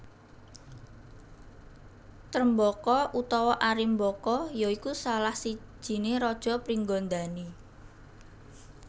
Trembaka utawa Arimbaka ya iku salah sijiné raja Pringgandani